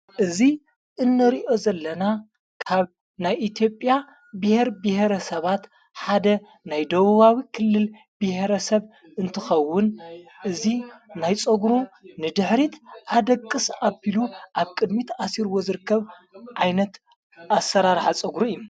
እዚ እነርእዮ ዘለና ካብ ናይ ኢትጴያ ብሔር ብሔረ ሰባት ሓደ ናይ ደውዋዊ ክልል ብሔረ ሰብ እንትኸውን እዙ ናይ ጾጕሩ ንድኅሪት ሓደ ቅስ ኣቢሉ ኣብ ቅድሚት ኣሲር ወዘርከብ ዓይነት ኣሠራርኀ ጸጕሪ እዩ::